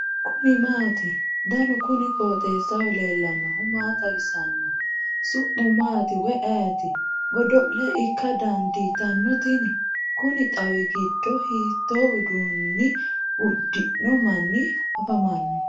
kuni maati ? danu kuni qooxeessaho leellannohu maa xawisanno su'mu maati woy ayeti ? godo'le ikka dandiitanno tini ? kuni xawi giddo hiito uduunni uddi'no manni afamanno ?